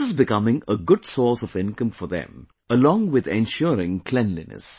This is becoming a good source of income for them along with ensuring cleanliness